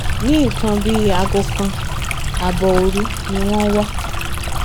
ní nǹkan bíi aago kan ààbọ òru ni wọn wà